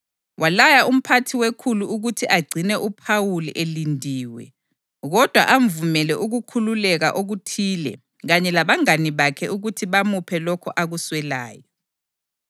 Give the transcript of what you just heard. Walaya umphathi wekhulu ukuthi agcine uPhawuli elindiwe kodwa amvumele ukukhululeka okuthile kanye labangane bakhe ukuthi bamuphe lokho akuswelayo.